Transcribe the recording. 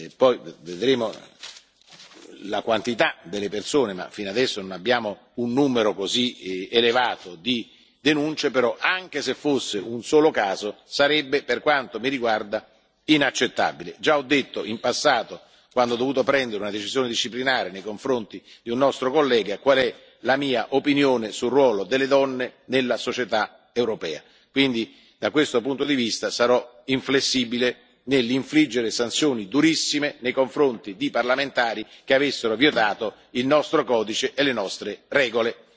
Poi vedremo la quantità delle persone, ma fino adesso non abbiamo un numero così elevato di denunce. Però anche se fosse un solo caso sarebbe, per quanto mi riguarda, inaccettabile. Già ho detto in passato, quando ho dovuto prendere una decisione disciplinare nei confronti di un nostro collega, qual è la mia opinione sul ruolo delle donne nella società europea, quindi da questo punto di vista sarò inflessibile nell'infliggere sanzioni durissime nei confronti di parlamentari che avessero violato il nostro codice e le nostre regole.